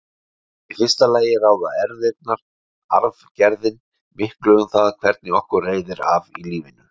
Í fyrsta lagi ráða erfðirnar, arfgerðin, miklu um það hvernig okkur reiðir af í lífinu.